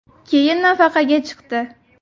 Keyin nafaqaga chiqdi.